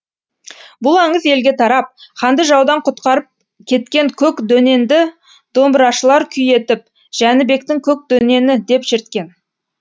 бұл аңыз елге тарап ханды жаудан құтқарып кеткен көк дөненді домбырашылар күй етіп жәнібектің көк дөнені деп шерткен